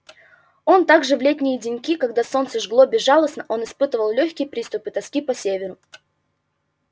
он так же в летние дни когда солнце жгло безжалостно он испытывал лёгкие приступы тоски по северу